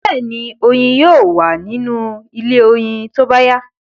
Bẹ́ẹ̀ni, oyin yóò wa ní inú ilé oyin tóbá yá